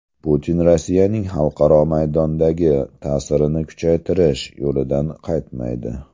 Putin Rossiyaning xalqaro maydondagi ta’sirini kuchaytirish yo‘lidan qaytmaydi.